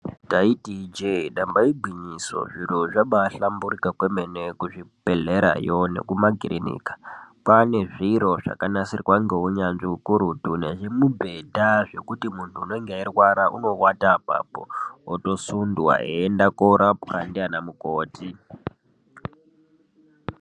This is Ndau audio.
Taiti ijee damba igwinyiso zviro zvabaahlamburika kwemene kuzvibhedhlera iyo nekumakirinika. Kwaanezviro zvakanasirwa ngeunyanzvi hukurutu, nezvimibhedha zvokuti muntu einga eirwara unoata apapo otosundwa eienda koorapwa naana mukoti.